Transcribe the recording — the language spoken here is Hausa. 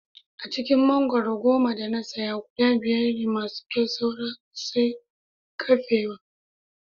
A cikin mangwaro goma da na saya guda biyar ne masu kyau saura sai kafewa